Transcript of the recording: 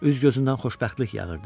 Üz-gözündən xoşbəxtlik yağırdı.